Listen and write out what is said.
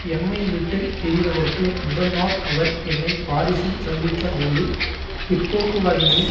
எம்மை விட்டு பிரிவதற்கு முதல் நாள் அவர் என்னை பாரிசில் சந்தித்த போது பிற்போக்குவாதிகளின்